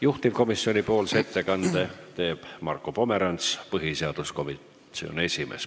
Juhtivkomisjoni ettekande teeb Marko Pomerants, põhiseaduskomisjoni esimees.